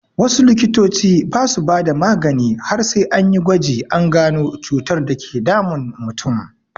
Wasu likitoci ba su bada magani har sai anyi gwaji an gano cutar dake damun mutum.